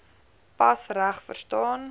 pas reg verstaan